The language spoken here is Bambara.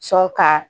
Sɔn ka